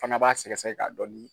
Fana b'a sɛgɛsɛgɛ ka dɔɔnin.